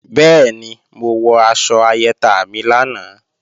Bẹ́ẹ̀ni, mo wọ aṣọ ayẹta mi lánàá